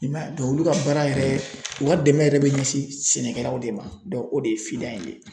I man ye olu ka baara yɛrɛ u ka dɛmɛ yɛrɛ bɛ ɲɛsin sɛnɛkɛlaw de ma o de ye in ye.